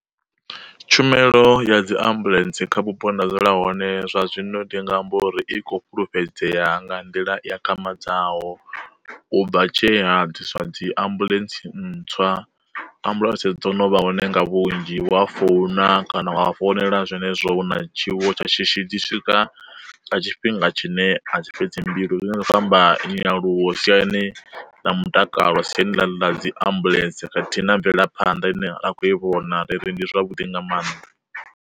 Tshumelo ya dziambuḽentse kha vhupo nda dzula hone zwa zwino ndi nga amba uri i khou fhulufhedzea nga nḓila i akhamadzaho, u bva tshe ha ḓiswa dzi ambuḽentse ntswa, ambuḽentse dzo no vha hone nga vhunzhi wa a founa kana wa founela zwenezwo hu na tshiwo tsha shishi dzi swika nga tshifhinga tshine a tshi fhedzi mbilu zwine zwa kho amba nyaluwo siyani ḽa mutakalo siyani ḽa dzi ambuḽentse khathihi na mvelaphanḓa ine a khou i vhona riri ndi zwavhuḓi nga maanḓa.